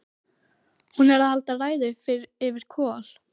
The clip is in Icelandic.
Hún er að halda ræðu yfir Kol